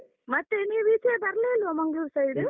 ಮತ್ತೆ ನೀವು ಈಚೆಯೇ ಬರ್ಲೇ ಇಲ್ವಾ ಮಂಗ್ಳೂರ್ side .